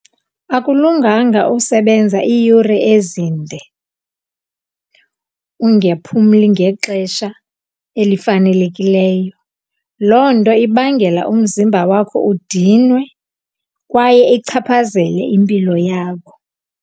Akulunganga usebenza iiyure ezinde ungephumli ngexesha elifanelekileyo. Loo nto ibangela umzimba wakho udinwe kwaye ichaphazele impilo yakho.